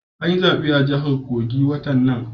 An yi zabe a jahar kogi watan nan